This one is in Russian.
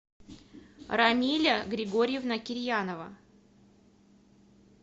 рамиля григорьевна кирьянова